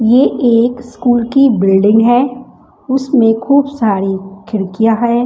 ये एक स्कूल की बिल्डिंग है उसमें खूब सारी खिड़कियां हैं।